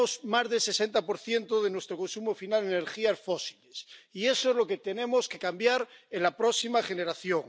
Más del 60 de nuestro consumo final son energías fósiles, y eso es lo que tenemos que cambiar en la próxima generación.